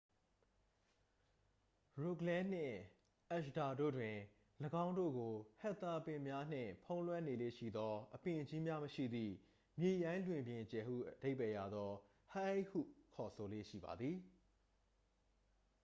"ရိုဂလန်းနှင့် အဂျ်ဒါ တို့တွင်၊ ၎င်းတို့ကို ဟက်သာပင်များနှင့်ဖုံးလွှမ်းနေလေ့ရှိသော အပင်ကြီးများမရှိသည့် မြေရိုင်းလွင်ပြင်ကျယ်ဟုအဓိပ္ပါယ်ရသော "hei" ဟု ခေါ်ဆိုလေ့ရှိပါသည်။